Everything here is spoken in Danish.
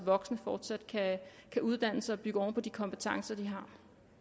voksne fortsat kan uddanne sig og bygge oven på de kompetencer de har